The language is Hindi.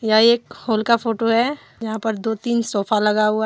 यह एक हॉल का फोटो है जहां पर दो तीन सोफा लगा हुआ --